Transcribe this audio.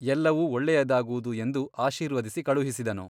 ಎಲ್ಲವೂ ಒಳ್ಳೆಯದಾಗುವುದು ಎಂದು ಆಶೀರ್ವದಿಸಿ ಕಳುಹಿಸಿದನು.